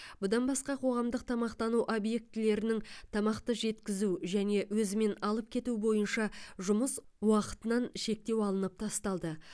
бұдан басқа қоғамдық тамақтану объектілерінің тамақты жеткізу және өзімен алып кету бойынша жұмыс уақытынан шектеу алынып тасталды